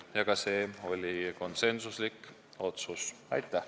Aitäh!